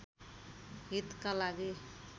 हितका लागि